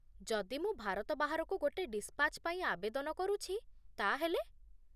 ଯଦି ମୁଁ ଭାରତ ବାହାରକୁ ଗୋଟେ ଡିସ୍‌ପାଚ୍ ପାଇଁ ଆବେଦନ କରୁଛି, ତା'ହେଲେ ?